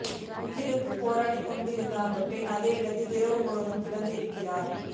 உயிருக்கு போராடிக் கொண்டு அந்த பெண் அதே இடத்தில் இரவு முழுக்க கிடந்து இருக்கிறார்